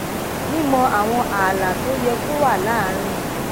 mímọ àwọn ààlà tó yẹ kó wà láàárín